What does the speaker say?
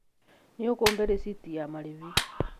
Nĩũkũhe rithiti ya marĩhĩ